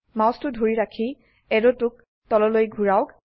মাউসটো ধৰি ৰাখি অ্যাৰোটোক তললৈ ঘোৰাওক